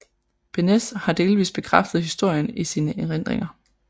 Beneš har delvist bekræftet historien i sine erindringer